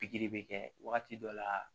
Pikiri bɛ kɛ wagati dɔ la